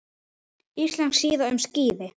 Íslensk síða um skíði